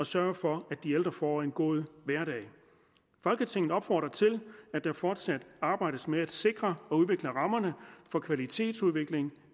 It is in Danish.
sørge for at de ældre får en god hverdag folketinget opfordrer til at der fortsat arbejdes med at sikre og udvikle rammerne for kvalitetsudvikling